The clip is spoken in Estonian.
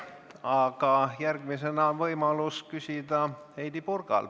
Aga järgmisena on võimalus küsida Heidy Purgal.